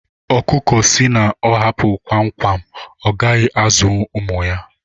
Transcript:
ọkụkụ si na ọ hapụ kwam kwam ọgaghi azụwu ụmụ ya